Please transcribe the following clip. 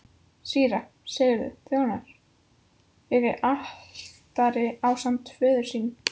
Síra Sigurður þjónaði fyrir altari ásamt föður sínum.